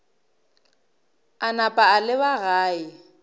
a napa a leba gae